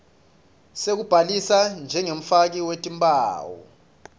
sekubhalisa njengemfaki wetimphawu